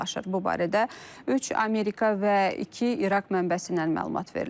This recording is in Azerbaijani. Bu barədə üç Amerika və iki İraq mənbəsindən məlumat verilib.